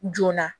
Joona